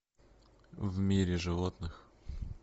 в мире животных